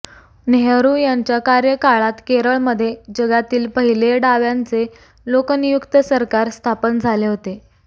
नेहरू यांच्या कार्यकाळात केरळमध्ये जगातील पहिले डाव्यांचे लोकनियुक्त सरकार स्थापन झाले होते